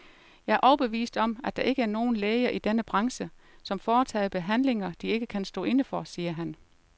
Jeg er overbevist om, at der ikke er nogen læger i denne branche, som foretager behandlinger, de ikke kan stå inde for, siger han.